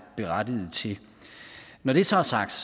berettiget til når det så er sagt